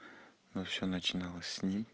ну все начиналось с ним